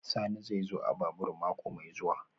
Sani zai zo a babur mako mai zuwa